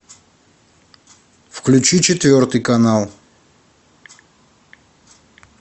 включи четвертый канал